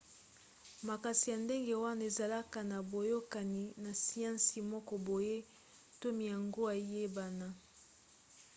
makanisi ya ndenge wana ezalaka na boyokani na siansi moko boye to miango eyebana